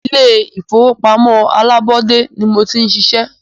Ilé ìfọwọ́pamó alábọ́dé ní mo ti ń ṣiṣẹ́.